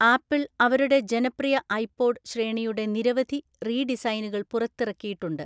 Apple അവരുടെ ജനപ്രിയ iPod ശ്രേണിയുടെ നിരവധി റീ ഡിസൈനുകൾ പുറത്തിറക്കിയിട്ടുണ്ട്.